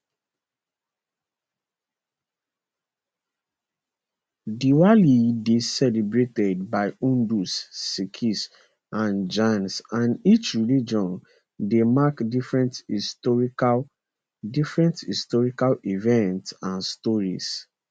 diwali dey celebrated by hindus sikhs and jains and each religion dey mark different historical different historical events and stories